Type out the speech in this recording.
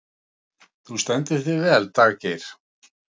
Þú stendur þig vel, Daggeir!